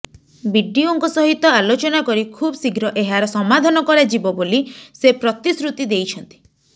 BDO ଙ୍କ ସହିତ ଆଲୋଚନା କରି ଖୁବ୍ ଶୀଘ୍ର ଏହାର ସମାଧାନ କରାଯିବ ବୋଲି ସେ ପ୍ରତିଶୃତି ଦେଇଛନ୍ତି